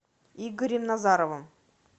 игорем назаровым